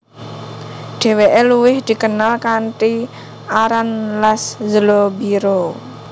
Dheweke luwih dikenal kanthi aran Laszlo Biro